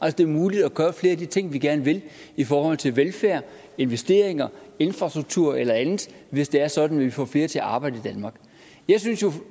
at det er muligt at gøre flere af de ting vi gerne vil i forhold til velfærd investeringer infrastruktur eller andet hvis det er sådan at vi får flere til at arbejde i danmark jeg synes jo